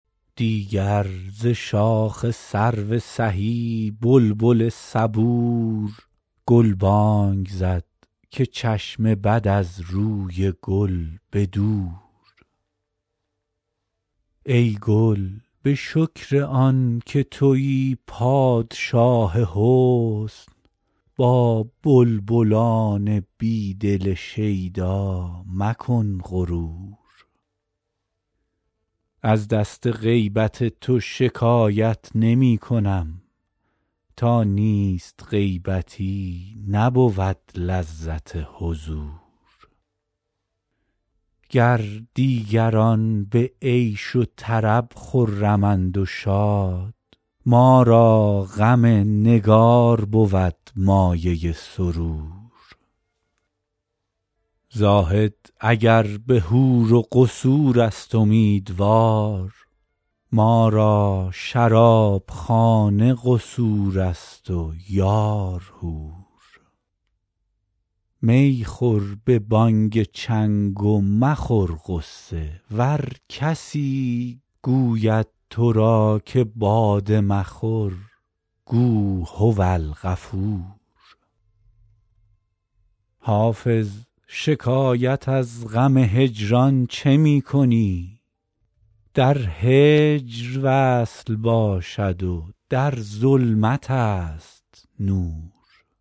دیگر ز شاخ سرو سهی بلبل صبور گلبانگ زد که چشم بد از روی گل به دور ای گل به شکر آن که تویی پادشاه حسن با بلبلان بی دل شیدا مکن غرور از دست غیبت تو شکایت نمی کنم تا نیست غیبتی نبود لذت حضور گر دیگران به عیش و طرب خرمند و شاد ما را غم نگار بود مایه سرور زاهد اگر به حور و قصور است امیدوار ما را شرابخانه قصور است و یار حور می خور به بانگ چنگ و مخور غصه ور کسی گوید تو را که باده مخور گو هوالغفور حافظ شکایت از غم هجران چه می کنی در هجر وصل باشد و در ظلمت است نور